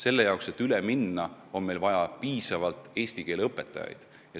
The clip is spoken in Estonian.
Selle jaoks, et üle minna, on vaja piisavalt eesti keele õpetajaid.